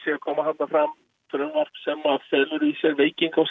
koma þarna fram frumvarp sem felur í sér veikingu á